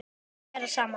Vera saman.